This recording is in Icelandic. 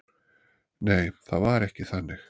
Nei, það var ekki þannig.